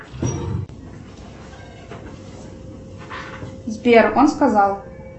сбер он сказал